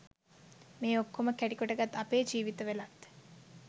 මේ ඔක්කොම කැටි කොටගත් අපෙ ජීවිත වලත්